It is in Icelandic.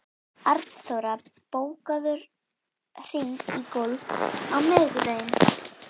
En hvert er framhald þessarar útlitsdýrkunar okkar fótboltamanna?